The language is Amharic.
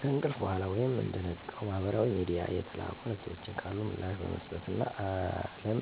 ከእንቅልፍ በኋላ ወይም እንደነቃው ማህበራዊ ሚድያ የተላኩ መልዕክቶች ካሉ ምላሽ በመስጠት እና አለም